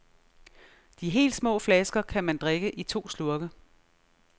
De helt små flasker kan man drikke i to slurke.